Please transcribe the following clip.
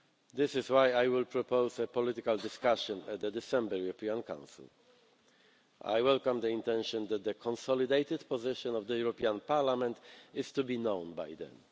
This is why I will propose a political discussion at the December European Council. I welcome the intention that the consolidated position of this Parliament is to be known by then.